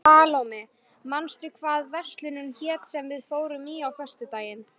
Salóme, manstu hvað verslunin hét sem við fórum í á föstudaginn?